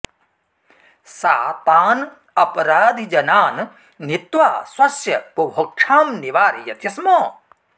सा तान् अपराधिजनान् नीत्वा स्वस्य बुभुक्षां निवारयति स्म